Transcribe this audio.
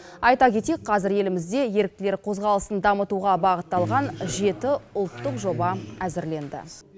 айта кетейік қазір елімізде еріктілер қозғалысын дамытуға бағытталған жеті ұлттық жоба әзірленді